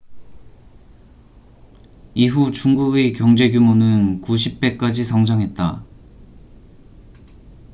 이후 중국의 경제규모는 90배까지 성장했다